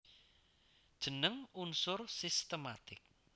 Jeneng unsur sistematik